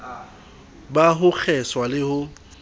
ba ho kgeswa le ho